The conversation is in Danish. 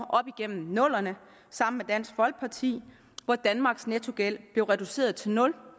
sammen med dansk folkeparti hvor danmarks nettogæld da reduceret til nul